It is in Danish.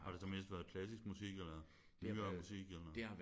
Har det så mest været klassisk musik eller nyere musik eller?